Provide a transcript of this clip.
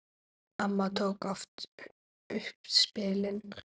Amma tók oft upp spilin.